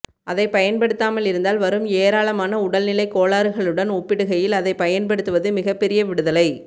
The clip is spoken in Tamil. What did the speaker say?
அதைப் பயன்படுத்தாமலிருந்தால் வரும் ஏராளமான உடல்நிலைக் கோளாறுகளுடன் ஒப்பிடுகையில் அதைப்பயன்படுத்துவது மிகபெரிய விடுதலை